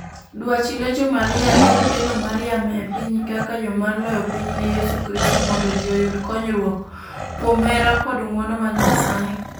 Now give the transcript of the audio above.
Dwach Legion Maria en kelo Mariam e piny kaka yo mar loyo piny ne Yesu Kristo mondo ji oyud konyruok kuom hera kod ng'wono mar Nyasaye.